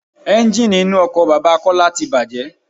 Ẹ́ńjíìnì inú ọkọ̀ bàbà Kọ́lá tí bàjé.